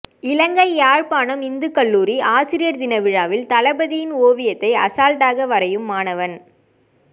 இலங்கை யாழ்ப்பாணம் இந்துக்கல்லூரி ஆசிரியர்தின விழாவில் தளபதியின் ஓவியத்தை அசால்ட்டாக வரையும் மாணவன்